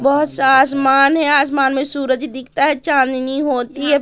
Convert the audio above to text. बहुत सा आसमान है आसमान में सूरज दिखता है चांदनी होती है।